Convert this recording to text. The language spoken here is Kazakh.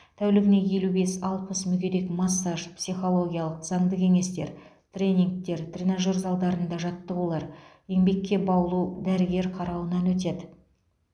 тәулігіне елу бес алпыс мүгедек массаж психологиялық заңды кеңестер тренингтер тренажер залдарында жаттығулар еңбекке баулу дәрігер қарауынан өтеді